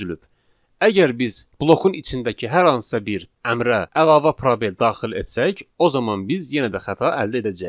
Əgər biz blokun içindəki hər hansısa bir əmrə əlavə probel daxil etsək, o zaman biz yenə də xəta əldə edəcəyik.